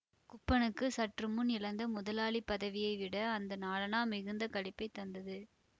குப்பனுக்கு சற்றுமுன் இழந்த முதலாளிப் பதவியைவிட அந்த நாலணா மிகுந்த களிப்பைத் தந்தது